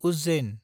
Ujjain